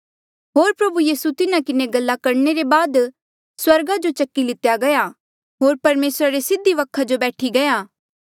होर प्रभु यीसू तिन्हा किन्हें गल्ला करणे ले बाद स्वर्गा जो चकी लितेया गया होर परमेसरा रे सीधी वखा जो बैठी गया